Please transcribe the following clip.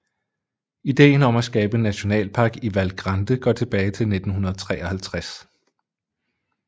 Idéen om at skabe en nationalpark i Val Grande går tilbage til 1953